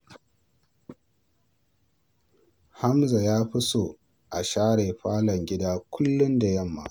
Hamza ya fi so a share falon gida kullum da yamma.